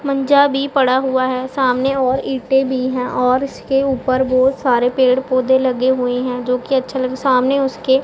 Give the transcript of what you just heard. मझा भी पड़ा हुआ है सामने और ईंटें भी है और इसके ऊपर बहुत सारे पेड़ पौधे लगे हुए है जो कि अच्छे लग सामने उसके --